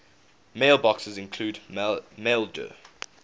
mailboxes include maildir